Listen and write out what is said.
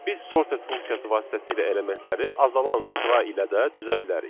Biz sorted funksiyası vasitəsilə elementləri azalan sıra ilə də düzə bilərik.